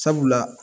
Sabula